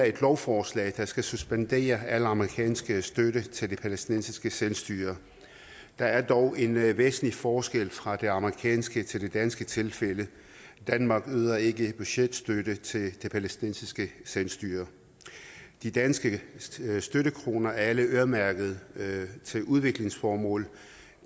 et lovforslag der skal suspendere al amerikansk støtte til det palæstinensiske selvstyre der er dog en væsentlig forskel fra det amerikanske til det danske tilfælde danmark yder ikke budgetstøtte til det palæstinensiske selvstyre de danske støttekroner er alle øremærket til udviklingsformål